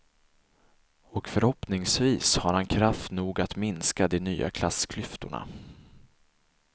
Och förhoppningsvis har han kraft nog att minska de nya klassklyftorna.